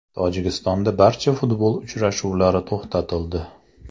Tojikistonda barcha futbol uchrashuvlari to‘xtatildi.